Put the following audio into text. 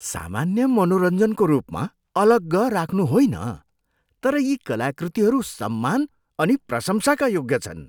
सामान्य मनोरञ्जनको रूपमा अलग्ग राख्नु होइन तर यी कलाकृतिहरू सम्मान अनि प्रशंसाका योग्य छन्।